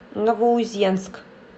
новоузенск